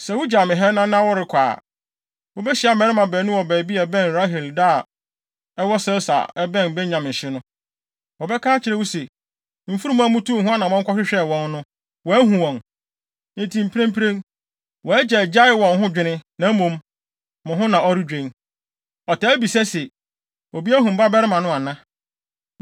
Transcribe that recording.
Sɛ wugyaw me ha nnɛ na worekɔ a, wubehyia mmarima baanu wɔ baabi a ɛbɛn Rahel da a ɛwɔ Selsa a ɛbɛn Benyamin hye no. Wɔbɛka akyerɛ wo se, ‘Mfurum a mutuu ho anammɔn kɔhwehwɛɛ wɔn no, wɔahu wɔn. Enti mprempren, wʼagya agyae wɔn ho dwene, na mmom, mo ho na ɔredwen. Ɔtaa bisa se, “Obi ahu me babarima no ana?” ’